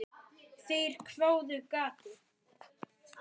Þeir hváðu: Gati?